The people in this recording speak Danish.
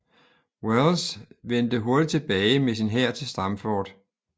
Welles vendte hurtigt tilbage med sin hær til Stamford